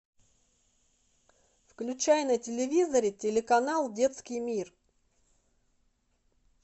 включай на телевизоре телеканал детский мир